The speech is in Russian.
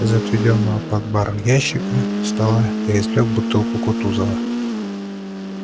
из отведённого под бар ящика стола я извлёк бутылку кутузова